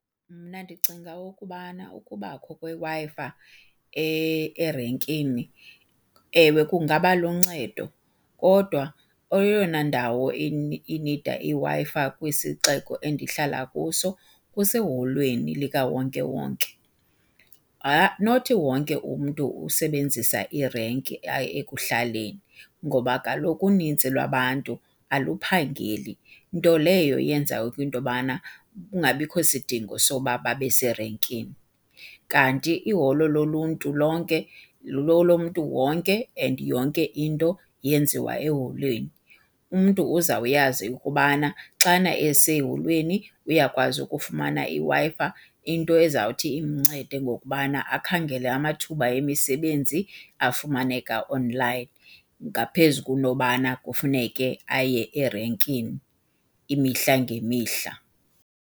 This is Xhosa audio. Mna ndicinga ukubana ukubakho kweWi-Fi erenkini ewe kungaba luncedo kodwa eyona ndawo inida iWi-Fi kwisixeko endihlala kuso kuseholweni likawonke wonke. Not wonke umntu usebenzisa irenki ekuhlaleni ngoba kaloku unintsi lwabantu aluphangeli, nto leyo yenza into yobana kungabikho sidingo soba babe serenkini. Kanti iholo loluntu lonke lelomntu wonke and yonke into yenziwa eholweni, umntu uzawuyazi ukubana xana eseholweni uyakwazi ukufumana iWi-Fi into ezawuthi imncede ngokubana akhangele amathuba emisebenzi afumaneka onlayini ngaphezu kunobana kufuneke aye erenkini imihla ngemihla.